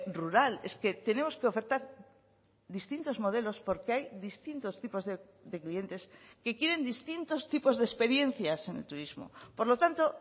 rural es que tenemos que ofertar distintos modelos porque hay distintos tipos de clientes que quieren distintos tipos de experiencias en el turismo por lo tanto